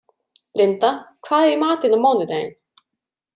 Linda, hvað er í matinn á mánudaginn?